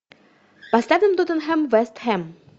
поставим тоттенхэм вест хэм